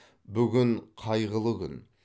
бүгін қайғылы күн